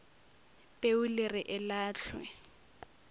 peu le re e lahlwe